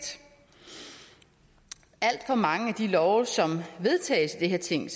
alt for mange af de love som vedtages i det her ting